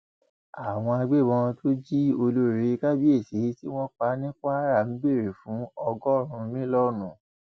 àwọn agbébọn tó jí olórí kábíyèsí tí wọn pa ní kwara ń béèrè fún ọgọrùnún mílíọnù